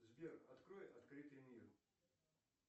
сбер открой открытый мир